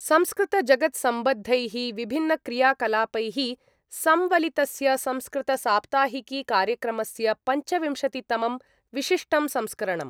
संस्कृतजगत्सम्बद्धैः विभिन्नक्रियाकलापैः सम्वलितस्य संस्कृतसाप्ताहिकीकार्यक्रमस्य पञ्चविंशतितमं विशिष्टं संस्करणम्।